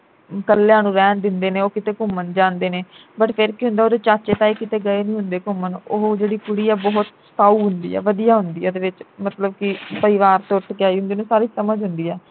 ਕੱਲਿਆ ਨੂੰ ਰਹਿਣ ਦਿੰਦੇ ਨੇ ਉਹ ਕਿਤੇ ਘੁੰਮਣ ਜਾਂਦੇ ਨੇ but ਫਿਰ ਕੀ ਹੁੰਦਾ ਉਹਦੇ ਚਾਚਾ ਤਾਏ ਕਿਤੇ ਗਏ ਨੀ ਹੁੰਦੇ ਘੁੰਮਣ ਉਹ ਜਿਹੜੀ ਕੁੜੀ ਆ ਬਹੁਤ ਸਾਊ ਹੁੰਦੀ ਐ ਵਧੀਆ ਹੁੰਦੀ ਐ ਇਹਦੇ ਵਿਚ ਮਤਲਬ ਕਿ ਪਰਿਵਾਰ ਤੋਂ ਉਠ ਕੇ ਆਈ ਹੁੰੰਦੀ ਉਹਨੂੰ ਸਾਰੀ ਸਮਝ ਹੁੰਦੀ ਐ